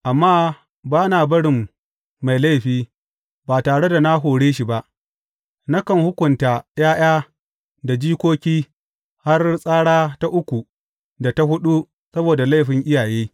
Amma ba na barin mai laifi, ba tare da na hore shi ba; nakan hukunta ’ya’ya da jikoki har tsara ta uku da ta huɗu saboda laifin iyaye.